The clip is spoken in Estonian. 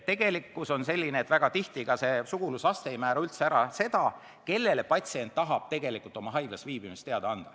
Tegelikkus on selline, et väga tihti ei määra ka sugulusaste, kellele patsient tahab tegelikult oma haiglas viibimisest teada anda.